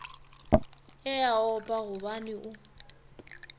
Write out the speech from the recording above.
e a opa gobane o